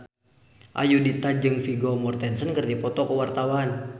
Ayudhita jeung Vigo Mortensen keur dipoto ku wartawan